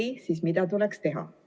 Kui ei, siis mida tuleks teha?